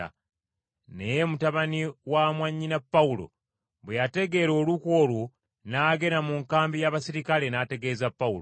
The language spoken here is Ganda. Naye mutabani wa mwannyina Pawulo bwe yategeera olukwe olwo n’agenda mu nkambi y’abaserikale n’ategeeza Pawulo.